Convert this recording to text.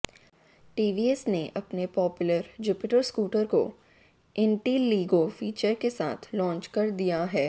TVS ने अपने popular Jupiter scooter को इंटेलीगो फीचर के साथ लॉन्च कर दिया है